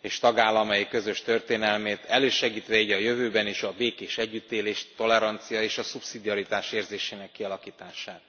és tagállamai közös történelmét, elősegítve így a jövőben is a békés együttélést, a tolerancia és a szubszidiaritás érzésének kialakítását.